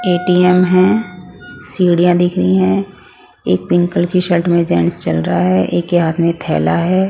ATM है सीढ़ियां दिख रही हैं एक पिंक कलर की शर्ट में जेंट्स चल रहा है एक के हाथ में थैला है ।